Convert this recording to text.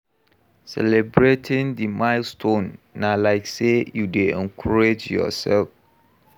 Celebrating the milestone na like sey you dey encourage your self